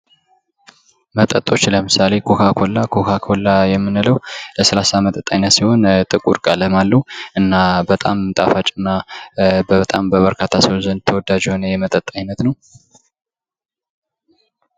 መጠጦች ለምሳሌ፦ ኮካ ኮላ ኮካ ኮላ የምንለው ከለስላሳ መጠጦች አይነት ሲሆን ጥቁር ከለር ያለው ጣፋጭ በጣም በብዙ ሰዎች ዘንድ ተወዳጅ የሆነ የመጠጥ አይነት ነው